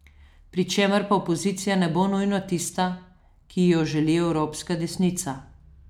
Pri čemer pa opozicija ne bo nujno tista, ki ji jo želi evropska desnica.